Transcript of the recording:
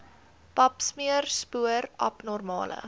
papsmeer spoor abnormale